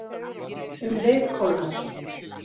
Um leið kólnar